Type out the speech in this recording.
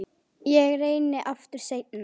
Ég reyni aftur seinna